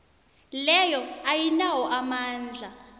leyo ayinawo amandla